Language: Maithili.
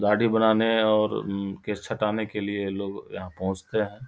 दाढ़ी बनाने और केश छटाने के लिए लोग यहाँ पहुंचते है।